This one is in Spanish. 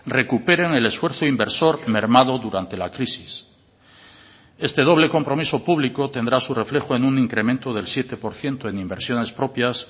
recuperen el esfuerzo inversor mermado durante la crisis este doble compromiso público tendrá su reflejo en un incremento del siete por ciento en inversiones propias